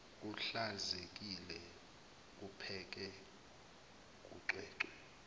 kuhlanzekile kupheke kucwecwe